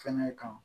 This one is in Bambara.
Fɛnɛ kan